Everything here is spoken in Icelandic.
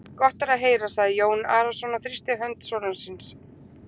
Gott er að heyra, sagði Jón Arason og þrýsti hönd sonar síns.